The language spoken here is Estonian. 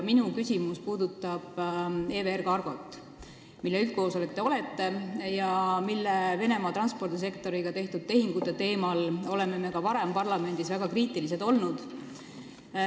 Minu küsimus puudutab EVR Cargot, mille üldkoosolek te olete ja mille Venemaa transpordisektoriga tehtud tehingute tõttu me oleme ka varem parlamendis väga kriitilised olnud.